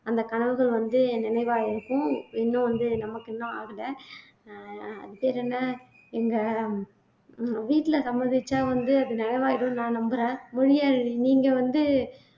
அந்த கனவுகள் வந்து நினைவா இருக்கும் இன்னும் வந்து நமக்கு இன்னும் ஆகலை அஹ் அது பேரென்ன எங்க உம் வீட்ல சம்மதிச்சா வந்து அது நிறைவாயிடும்னு நான் நம்புறேன் மொழியாழினி நீங்க வந்து